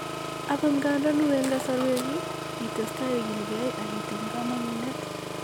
Agot ngandan wuen kasarwek ii, itestai igilkei ak itiny kamangunet.